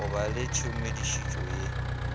go ba le tshedimošetšo ya